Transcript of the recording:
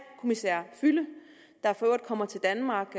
kommissær füle der for øvrigt kommer til danmark